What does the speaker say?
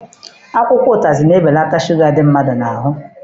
Akwụkwọ ụtazị na-ebeleta shuga dị mmadụ n'ahụ.